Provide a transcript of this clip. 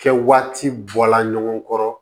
Kɛ waati bɔla ɲɔgɔn kɔrɔ